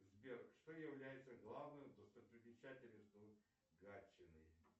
сбер что является главной достопримечательностью гатчины